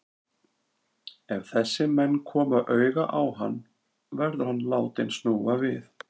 Ef þessir menn koma auga á hann, verður hann látinn snúa við.